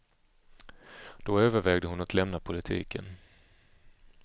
Då övervägde hon att lämna politiken.